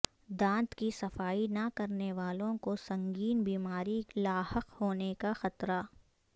دانت کی صفائی نہ کرنے والوں کو سنگین بیماری لاحق ہونے کا خطرہ